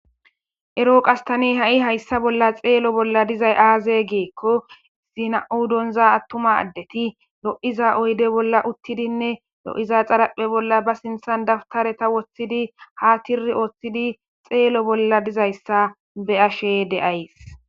ero qastani ha7i hayssa bolla xeelo bolla dizay aaze geekko zina7u donza attuma addeti lo7iza oyde bolla uttidinne lo7iza xarapphe bolla ba sinthan dabtareta woththidi ha tiri ooththidi xeelo bolla dizayssa be7ashe de7ays